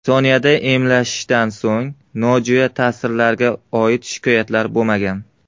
Soniyada emlashdan so‘ng, nojo‘ya ta’sirlarga oid shikoyatlar bo‘lmagan.